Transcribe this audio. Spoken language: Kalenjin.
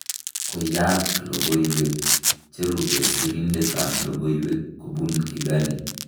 Koiyak logoyweek cherube sirindet ab logoyweek kobun Kigali